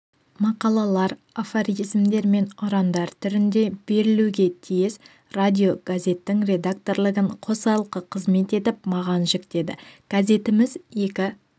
мақалалар афоризмдер мен ұрандар түрінде берілуге тиіс радиогазеттің редакторлығын қосалқы қызмет етіп маған жүктеді газетіміз екі